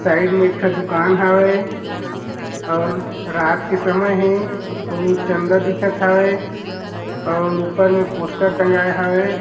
Side में एक ठ दुकान हावय और रात के समय हे अऊ चंदा दिखत हावय और ऊपर में पोस्टर टंगाए हावय।